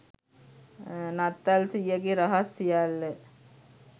නත්තල් සීයගෙ රහස් සියල්ල